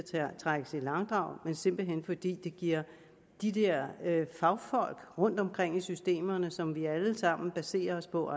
trækkes i langdrag men simpelt hen fordi det ikke giver de der fagfolk rundtomkring i systemerne og som vi alle sammen baserer os på